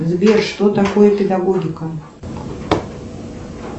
сбер что такое педагогика